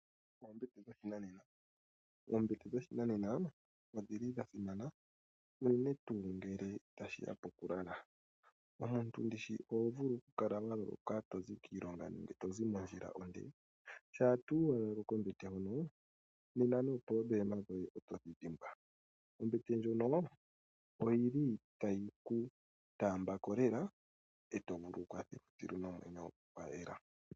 oombete dhoshinanena Oombete dhoshinanena odha simana, unene tuu ngele tashi ya pokulala. Omuntu ndi shi oho vulu okukala wa loloka uuna to zi kiilonga nenge to zi mondjila onde? Shampa tuu wa lala kombete hono, nena nuudhigu woye oto wu dhimbwa. Ombete ndjono otayi ku taamba ko nawa e to vululukwa nduno nomwenyo gwa yela.